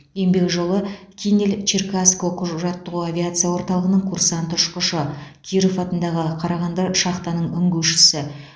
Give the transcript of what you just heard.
еңбек жолы кинель черкасск оқу жаттығу авиация орталығының курсант ұшқышы киров атындағы қарағанды шахтаның үңгушісі